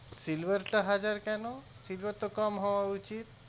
silver টা হাজার কেন silver তো কম হওয়া উচিত